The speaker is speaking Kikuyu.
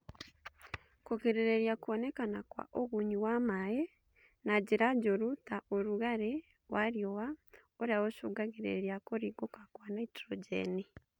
Kũgirĩrĩria kwonekana kwa ũgunyu wa maĩ na njĩra njũru ta ũrugarĩ wa rĩũa ũrĩa ũcũngagĩrĩria kũringũka Kwa naitrojeni